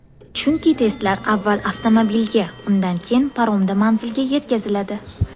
Chunki testlar avval avtomobilga, undan keyin paromda manzilga yetkaziladi.